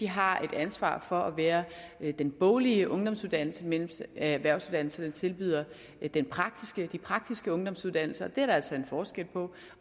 har et ansvar for at være den boglige ungdomsuddannelse mens erhvervsuddannelserne tilbyder de praktiske praktiske ungdomsuddannelser det er der altså en forskel på